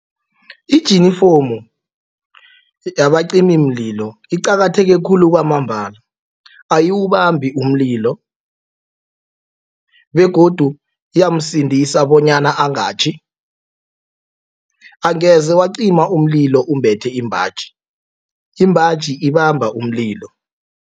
Ijinifomu yabacimimlilo iqakatheke khulu kwamambala ayiwubambi umlilo begodu iyamsindisa bonyana angatjhi. Angeze wacima umlilo umbethe imbaji, imbaji ibamba umlilo.